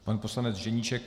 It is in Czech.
Pan poslanec Ženíšek?